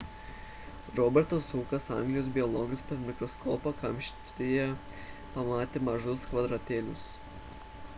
robertas hukas anglijos biologas per mikroskopą kamštyje pamatė mažus kvadratėlius